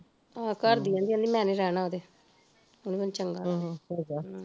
ਆਹੋ ਘਰਦੀ ਕਹਿੰਦੀ ਉਹਦੀ ਕਹਿੰਦੀ ਮੈਨੀ ਰਹਿਣਾ ਉਹਦੇ ਉਹ ਨੀ ਮੈਨੂੰ ਚੰਗਾ ਹਮ